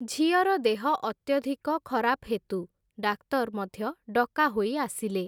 ଝିଅର ଦେହ ଅତ୍ୟଧିକ ଖରାପ୍ ହେତୁ, ଡାକ୍ତର୍ ମଧ୍ୟ ଡକା ହୋଇ ଆସିଲେ ।